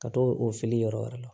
Ka t'o o fili yɔrɔ wɛrɛ la